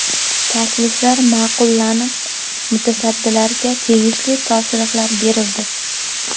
Takliflari ma’qullanib, mutasaddilarga tegishli topshiriqlar berildi.